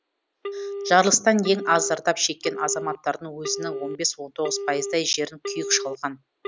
жарылыстан ең аз зардап шеккен азаматтардың өзінің он бес он тоғыз пайыздай жерін күйік шалған